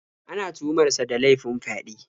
Ana tuhumar sa da laifin fyaɗe.